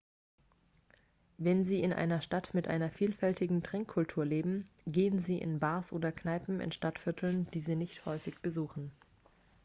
wenn sie in einer stadt mit einer vielfältigen trinkkultur leben gehen sie in bars oder kneipen in stadtvierteln die sie nicht häufig besuchen